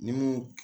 Ni mun